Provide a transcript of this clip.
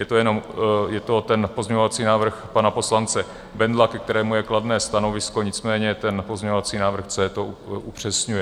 Je to ten pozměňovací návrh pana poslance Bendla, ke kterému je kladné stanovisko, nicméně ten pozměňovací návrh C to upřesňuje.